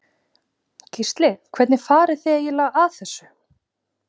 Gísli: Hvernig farið þið eiginlega að þessu?